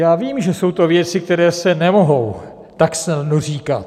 Já vím, že jsou to věci, které se nemohou tak snadno říkat.